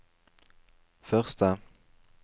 første